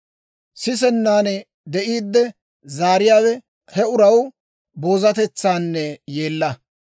Sisennan de'iiddi zaariyaawe, hewe he uraw boozatetsanne yeella.